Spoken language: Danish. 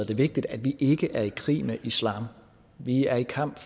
det vigtigt at vi ikke er i krig med islam vi er i kamp